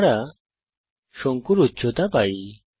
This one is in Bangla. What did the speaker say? আমরা শঙ্কুর উচ্চতা পাই